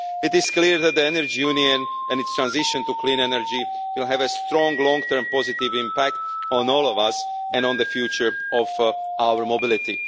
It is clear that the Energy Union and its transition to clean energy will have a strong, long term positive impact on all of us and on the future of our mobility.